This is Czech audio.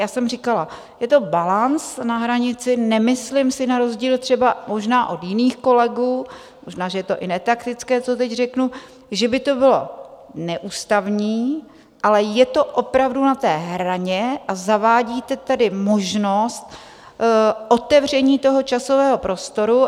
Já jsem říkala, je to balanc na hranici, nemyslím si na rozdíl třeba možná od jiných kolegů, možná že je to i netaktické, co teď řeknu, že by to bylo neústavní, ale je to opravdu na té hraně a zavádíte tady možnost otevření toho časového prostoru.